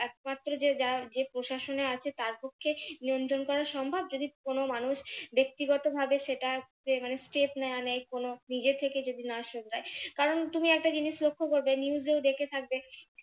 একমাত্র যে প্রশাসনে আছে তার পক্ষে নিয়ন্ত্রন করা সম্ভব যদি কোনো মানুষ ব্যক্তিগতভাবে যদি সেটা কোনো step না নেয় নিজে থেকে যদি না শোধরায় কারন তুমি একটা জিনিস লক্ষ করবে news এও দেখে থাকবে